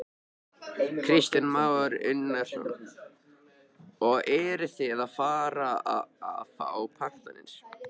Kristján Már Unnarsson: Og eruð þið farnir að fá pantanir?